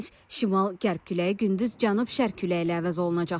Zəif şimal-qərb küləyi gündüz cənub-şərq küləyi ilə əvəz olunacaq.